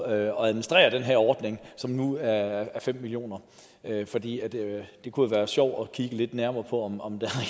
at administrere den her ordning som nu er på fem million kr fordi det jo kunne være sjovt at kigge lidt nærmere på om om der